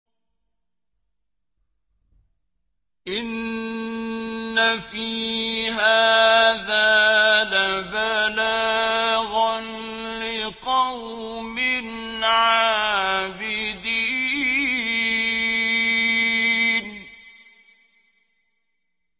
إِنَّ فِي هَٰذَا لَبَلَاغًا لِّقَوْمٍ عَابِدِينَ